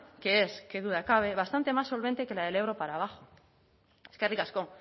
que es qué duda cabe bastante más solvente que la del ebro para abajo eskerrik asko